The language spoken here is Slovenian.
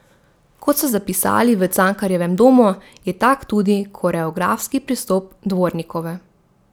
Kot so zapisali v Cankarjevem domu, je tak tudi koreografski pristop Dvornikove.